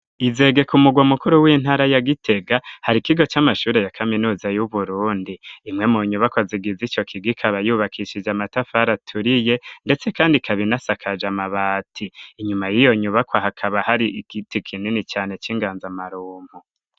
Izegeka umugwa mukuru w'intara yagitega hari ikigo c'amashuri ya kaminuza y'uburundi impwemu nyubako azigiza ico kigikaabayubakishije amatafar aturiye, ndetse, kandi kabinasakaje amabati inyuma yiyo nyubakwa hakaba hari igiti kinini cane c'inganza amarumpu.